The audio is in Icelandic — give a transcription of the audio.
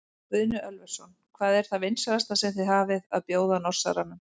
Guðni Ölversson: Hvað er það vinsælasta sem þið hafið að bjóða Norsaranum?